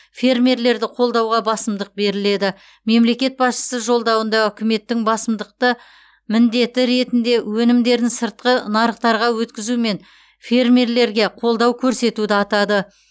фермерлерді қолдауға басымдық беріледі мемлекет басшысы жолдауында үкіметтің басымдықты міндеті ретінде өнімдерін сыртқы нарықтарға өткізумен фермелерге қолдау көрсетуді атады